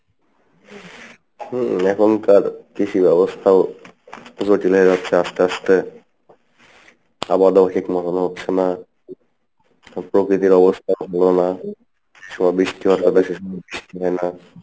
হম এখনকার কৃষির অবস্থাও জটিল হয়ে যাচ্ছে আস্তে আস্তে মনে হচ্ছে না প্রকৃতির অবস্থাও ভালো না যে সময় বৃষ্টি হওয়ার কথা সে সময় বৃষ্টি হয় না